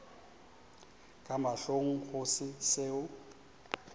ka mahlong go se seo